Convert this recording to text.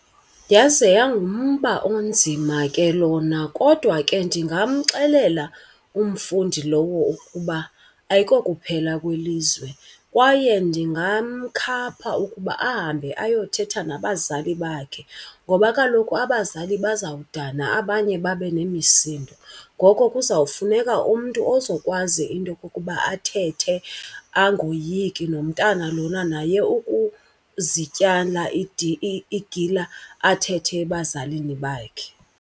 Yaze yangumba onzima ke lona kodwa ke ndingamxelela umfundi lowo ukuba ayikokuphela kwelizwe. Kwaye ndingamkhapha ukuba ahambe ayothetha nabazali bakhe ngoba kaloku abazali bazawudana abanye babe nemisindo. Ngoko kuzawufuneka umntu ozokwazi into okokuba athethe angoyiki nomntana lona naye ukuzityala igila athethe ebazalini bakhe.